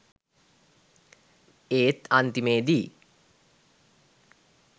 ඒත් අන්තිමේදී